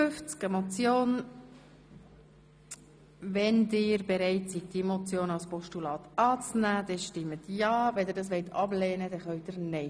Wer bereit ist, diesen Vorstoss als Postulat anzunehmen, stimmt ja, wer das ablehnt, stimmt nein.